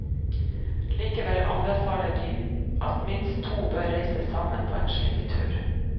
Likevel anbefaler de at minst to bør reise sammen på en slik tur.